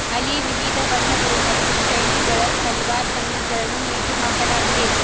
ಅಲ್ಲಿ ವಿವಿಧ ಬಣ್ಣಗಳು ಮತ್ತು ಶೈಲಿಗಳ ಸಲ್ವಾರ್ ಕಮಿಸ್ಗಳನ್ನೂ ನೇತು ಹಾಕಲಾಗಿದೆ.